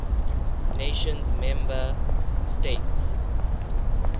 nations member states